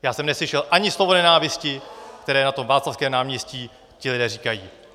Já jsem neslyšel ani slovo nenávisti, které na tom Václavském náměstí ti lidé říkají.